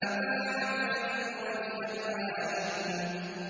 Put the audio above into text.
مَتَاعًا لَّكُمْ وَلِأَنْعَامِكُمْ